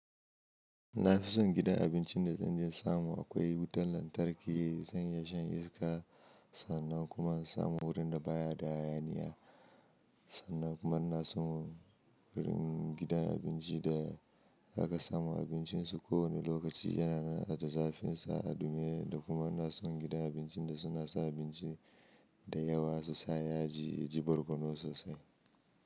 Na fi son gidan abincin da zanje in samu akwai wutar lantarki, zan iya shan iska sannan kuma in samu wurin da baya da hayaniya, sannan kuma ina so wurin gidan abinci da aka samu abincin su ko wane lokaci yana da zafinsa domin da kuma ina son gidan abincin da suna sa abinci da yawa su sa yaji, yaji barkono sosai.